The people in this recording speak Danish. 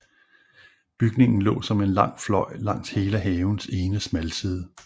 Bygningen lå som en lang fløj langs hele havens ene smalside